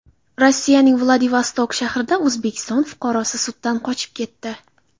Rossiyaning Vladivostok shahrida O‘zbekiston fuqarosi suddan qochib ketdi.